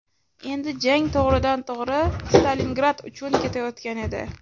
Endi jang to‘g‘ridan to‘g‘ri Stalingrad uchun ketayotgan edi.